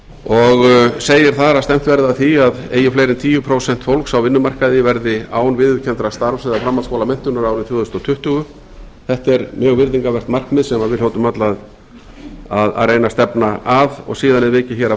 og segir þar að stefnt verði að því að eigi fleiri en tíu prósent fólks á vinnumarkaði verði án viðurkenndrar starfs eða framhaldsskólamenntunar árið tvö þúsund tuttugu þetta er mjög virðingarvert markmið sem við hljótum öll að reyna að stefna að og síðan er vikið að